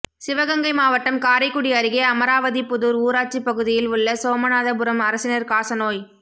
சிவகங்கை மாவட்டம் காரைக்குடி அருகே அமராவதிபுதூா் ஊராட்சிப் பகுதியில் உள்ள சோமநாத புரம் அரசினா் காசநோய்